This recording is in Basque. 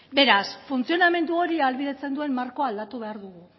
beraz funtzionamendu hori ahalbidetzen duen markoa aldatu behar dugu